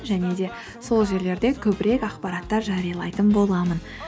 және де сол жерлерде көбірек ақпараттар жариялайтын боламын